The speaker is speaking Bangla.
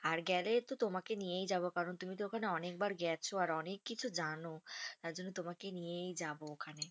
আর গেলে তো তোমাকে নিয়েই যাবো। কারন তুমি তো ওখানে অনেকবার গেছো আর অনেককিছু জানো তার জন্য তোমাকে নিয়েই যাবো ওখানে।